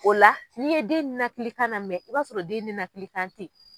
O la n'i ye den nɛnɛkili kan lamɛn i b'a sɔrɔ den nɛnɛkili kan tɛ ye.